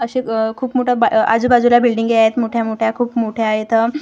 अशे अह खूप मोठा अ आजूबाजूला बिल्डिंगी आहेत मोठ्या-मोठ्या खूप मोठ्या आहेत.